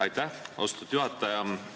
Aitäh, austatud juhataja!